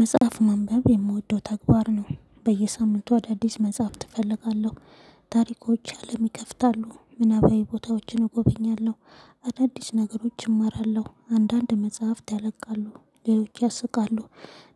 መጽሐፍ መንበብ የምወደው ተግባር ነው። በየሳምንቱ አዳዲስ መጽሐፍት እፈልጋለሁ። ታሪኮች አለም ይከፍታሉ፣ ምናባዊ ቦታዎችን እጎበኛለሁ። አዳዲስ ነገሮች እማራለሁ፤ አንዳንድ መጽሐፍት ያለቃሉ ሌሎች ያስቃሉ።